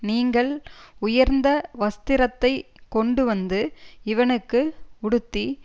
நீங்கள் உயர்ந்த வஸ்திரத்தை கொண்டு வந்து இவனுக்கு உடுத்தி